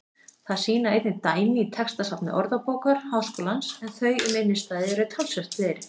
Það sýna einnig dæmi í textasafni Orðabókar Háskólans en þau um innstæðu eru talsvert fleiri.